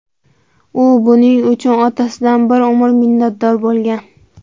U buning uchun otasidan bir umr minnatdor bo‘lgan.